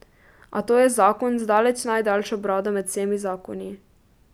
A to je zakon z daleč najdaljšo brado med vsemi zakoni.